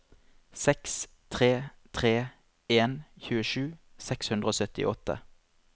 seks tre tre en tjuesju seks hundre og syttiåtte